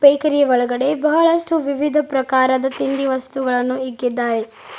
ಬೇಕರಿಯ ಒಳಗಡೆ ಬಹಳಷ್ಟು ವಿವಿಧ ಪ್ರಕಾರದ ತಿಂಡಿ ವಸ್ತುಗಳನ್ನು ಇಕ್ಕಿದ್ದಾರೆ.